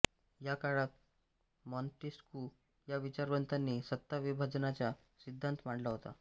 या काळात मॅान्टेस्क्यू या विचारवंताने सत्ता विभाजनाचा सिद्धांत मांडला होता